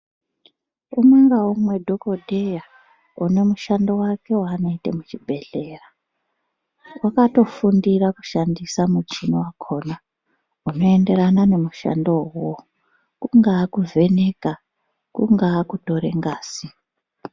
Umwe ngaumwe dhokodheya une mushando wake waanoite muchibhedhlera, wakatofundira kushandisa muchini wakhona unoenderana nemushando uwowo, kungaa kuvheneka, kungaa kutore ngazi.